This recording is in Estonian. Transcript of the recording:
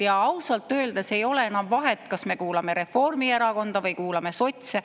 Ja ausalt öeldes ei ole enam vahet, kas me kuulame Reformierakonda või kuulame sotse.